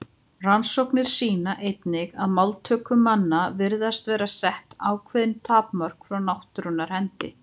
Rannsóknir sýna einnig að máltöku manna virðast vera sett ákveðin tímamörk frá náttúrunnar hendi.